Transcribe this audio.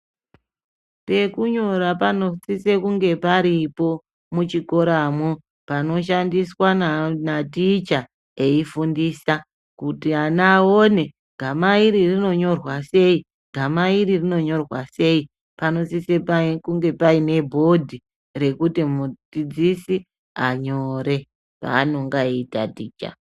Pekunyora panosise kunge paripo muchikoramwo, panoshandiswa naticha eifundisa, kuti ana aone. -gama iri rinonyorwa sei, gama iri rinonyorwa sei. Panosise kunge paine bhodhi rekuti mudzidzisi anyore zvaanenge eitaticha.